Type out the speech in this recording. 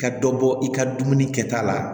Ka dɔ bɔ i ka dumuni kɛta la